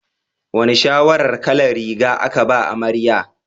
Wane shawarar kalar riga aka ba amarya?